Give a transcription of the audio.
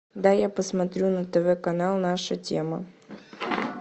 дай я посмотрю на тв канал наша тема